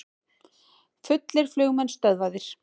Fullir flugmenn stöðvaðir